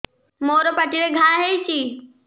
ମୋର ପାଟିରେ ଘା ହେଇଚି